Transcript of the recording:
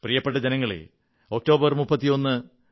പ്രിയപ്പെട്ട ജനങ്ങളേ ഒക്ടോബർ 31